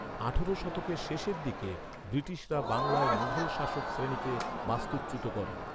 আঠারো শতকের শেষের দিকে, ব্রিটিশরা বাংলায় মুঘল শাসক শ্রেণীকে বাস্তুচ্যুত করে।